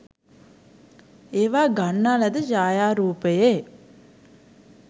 ඒවා ගන්නා ලද ඡායාරූපයේ